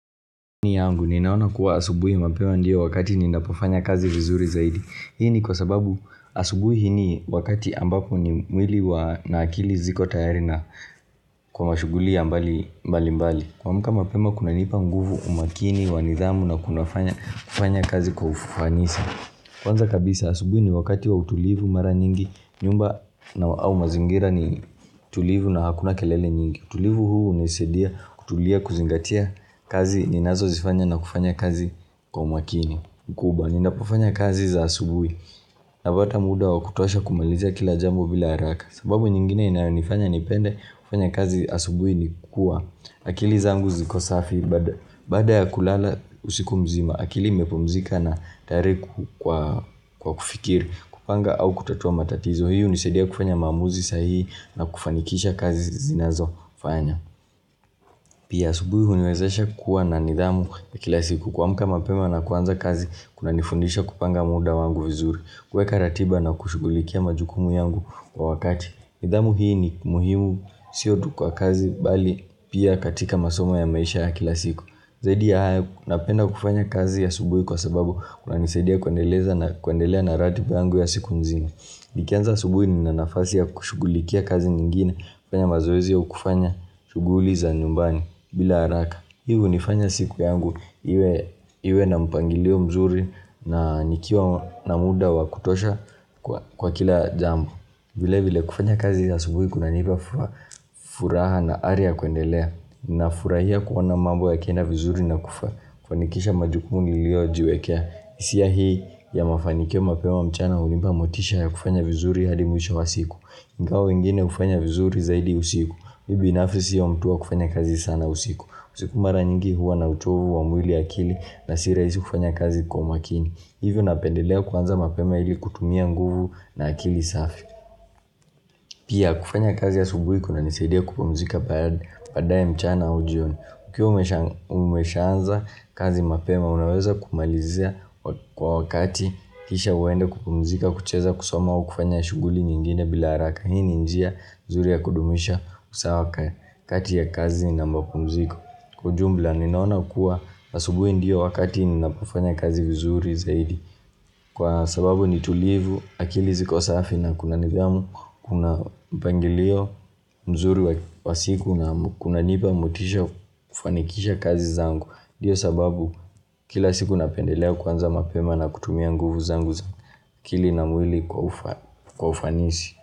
Nia yangu ninaona kuwa asubuhi mapema ndio wakati ninapofanya kazi vizuri zaidi Hii ni kwa sababu asubuhi ni wakati ambapo ni mwili wa na akili ziko tayari na kwa mashughuli ya mbali mbali mbali kuamka mapema kunanipa nguvu umakini wa nidhamu na kunafanya kufanya kazi kwa ufanisa Kwanza kabisa asubuhi ni wakati wa utulivu mara nyingi nyumba na au mazingira ni tulivu na hakuna kelele nyingi utulivu huu hunisaidia kutulia kuzingatia kazi ninazozifanya na kufanya kazi kwa umakini. Kubwa, ninapofanya kazi za asubuhi. Napata muda wakutosha kumalizia kila jambo bila haraka. Sababu nyingine inayonifanya nipende kufanya kazi asubuhi ni kuwa akili zangu ziko safi baada ya kulala usiku mzima. Akili imepumzika na tayari ku kwa kwa kufikiri kupanga au kutatua matatizo. Kwa hiyo hunisaidia kufanya maamuzi sahihi na kufanikisha kazi zinazofanya. Pia asubuhi huniwezesha kuwa na nidhamu ya kila siku. Kuamka mapema na kuanza kazi, kunanifundisha kupanga muda wangu vizuri. Kuweka ratiba na kushugulikia majukumu yangu kwa wakati. Nidhamu hii ni muhimu sio tu kwa kazi, bali pia katika masoma ya maisha ya kila siku. Zaidi ya haya napenda kufanya kazi ya asubuhi kwa sababu kunanisaidia kuendeleza na kuendelea na ratiba yangu ya siku nzima. Nikianza asubuhi nina nafasi ya kushugulikia kazi nyingine, kufanya mazoezi au kufanya, shughuli za nyumbani, bila haraka. Hii hunifanya siku yangu iwe na mpangilio mzuri na nikiwa na muda wakutosha kwa kwa kila jambo. Vile vile kufanya kazi ya asubuhi kunanipa furaha na ari ya kuendelea. Ninafurahia kuona mambo yakienda vizuri na kufanikisha majukumu niliyojiwekea. Hisia hii ya mafanikio mapema mchana hunipa motisha ya kufanya vizuri hadi mwisho wa siku ingawa wengine hufanya vizuri zaidi usiku mimi binafisi sio mtu wa kufanya kazi sana usiku usiku mara nyingi huwa na uchovu wa mwili akili na si rahisi kufanya kazi kwa makini Hivyo napendelea kuanza mapema ili kutumia nguvu na akili safi Pia kufanya kazi asubuhi kunanisaidia kupumzika baada baada ya mchana au jioni Ukiwa umeshaanza kazi mapema unaweza kumalizia kwa wakati kisha uende kupumzika kucheza kusoma au kufanya shughuli nyingine bila haraka. Hii ni njia nzuri ya kudumisha usawa kati ya kazi na mapumziko. Kwa ujumla ninaona kuwa asubuhi ndio wakati ninapofanya kazi vizuri zaidi. Kwa sababu ni tulivu, akili ziko safi na kuna nidhamu, kuna mpangilio mzuri wa siku na kunanipa motisha kufanikisha kazi zangu ndio sababu kila siku napendelea kuanza mapema na kutumia nguvu zangu za akili na mwili kwa ufanisi.